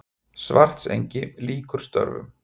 Svartsengi lýkur störfum.